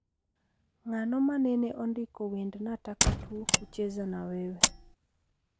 Ng'ano manene ondiko wend nataka tu kucheza na wewe